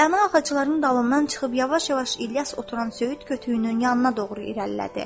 Rəna ağacların dalından çıxıb yavaş-yavaş İlyas oturan söyüd kötüyünün yanına doğru irəlilədi.